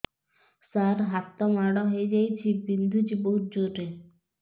ସାର ହାତ ମାଡ଼ ହେଇଯାଇଛି ବିନ୍ଧୁଛି ବହୁତ ଜୋରରେ